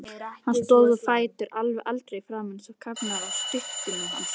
Hann stóð á fætur, alveg eldrauður í framan eins og karfarnir á sturtubílunum hans.